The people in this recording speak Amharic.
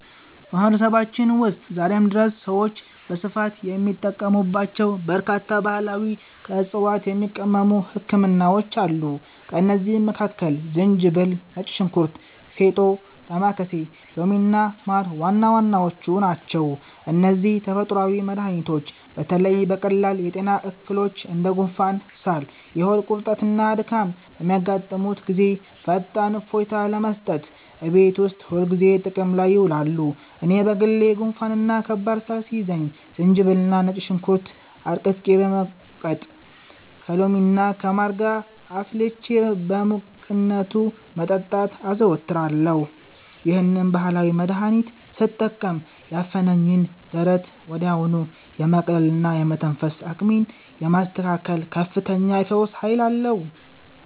በማህበረሰባችን ውስጥ ዛሬም ድረስ ሰዎች በስፋት የሚጠቀሙባቸው በርካታ ባህላዊና ከዕፅዋት የሚቀመሙ ህክምናዎች አሉ። ከእነዚህም መካከል ዝንጅብል፣ ነጭ ሽንኩርት፣ ፌጦ፣ ዳማከሴ፣ ሎሚና ማር ዋና ዋናዎቹ ናቸው። እነዚህ ተፈጥሯዊ መድኃኒቶች በተለይ በቀላል የጤና እክሎች እንደ ጉንፋን፣ ሳል፣ የሆድ ቁርጠትና ድካም በሚያጋጥሙን ጊዜ ፈጣን እፎይታ ለመስጠት እቤት ውስጥ ሁልጊዜ ጥቅም ላይ ይውላሉ። እኔ በግሌ ጉንፋንና ከባድ ሳል ሲይዘኝ ዝንጅብልና ነጭ ሽንኩርት አድቅቄ በመውቀጥ፣ ከሎሚና ከማር ጋር አፍልቼ በሙቅነቱ መጠጣትን አዘወትራለሁ። ይህንን ባህላዊ መድኃኒት ስጠቀም ያፈነኝን ደረት ወዲያውኑ የማቅለልና የመተንፈስ አቅሜን የማስተካከል ከፍተኛ የፈውስ ኃይል አለው።